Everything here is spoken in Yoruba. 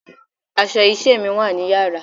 Aṣọ iṣẹ́ mi wá ní Yàrá.